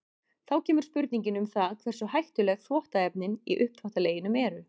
Þá kemur spurningin um það hversu hættuleg þvottaefnin í uppþvottaleginum eru.